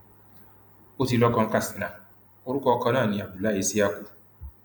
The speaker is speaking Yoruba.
ó ti lọkọ ní katsina orúkọ ọkọ náà ní abdullahi isi yaku